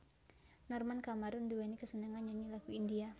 Norman Kamaru nduwèni kesenengan nyanyi lagu India